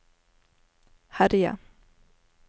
herje